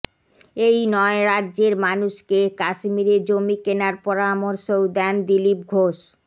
এই নয় রাজ্যের মানুষকে কাশ্মীরে জমি কেনার পরামর্শও দেন দিলীপ ঘোষ